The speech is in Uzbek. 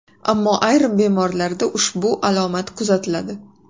Ammo ayrim bemorlarda ushbu alomat kuzatiladi.